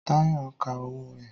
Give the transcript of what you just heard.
Táyọ̀ ń ka owó rẹ̀